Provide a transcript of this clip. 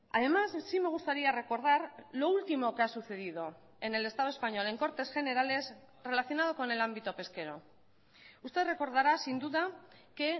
además sí me gustaría recordar lo último que ha sucedido en el estado español en cortes generales relacionado con el ámbito pesquero usted recordará sin duda que